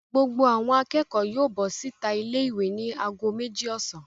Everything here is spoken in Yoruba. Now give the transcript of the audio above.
Gbogbo àwọn akẹ́kọ̀ọ́ yóò bọ́ síta ilé-ìwé ní ago méjì ọ̀sán.